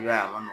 I b'a ye a ma